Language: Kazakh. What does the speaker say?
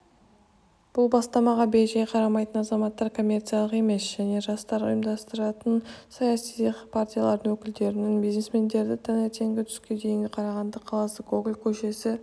бұл бастамаға бейжай қарамайтын азаматтар коммерциялық емес және жастар ұйымдарының саяси партиялардың өкілдерін бизнесмендерді таңертеңгі түскі дейін қарағанды қаласы гоголь көшесі